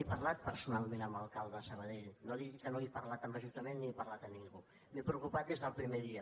he parlat personalment amb l’alcalde de sabadell no digui que no he parlat amb l’ajuntament ni he parlat amb ningú me n’he preocupat des del primer dia